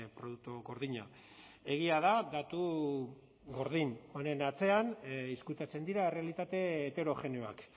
produktu gordina egia da datu gordin honen atzean ezkutatzen dira errealitate heterogeneoak